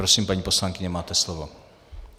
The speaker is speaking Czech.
Prosím, paní poslankyně, máte slovo.